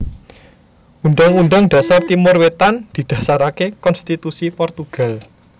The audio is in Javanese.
Undhang Undhang Dhasar Timor Wétan didhasaraké konstitusi Portugal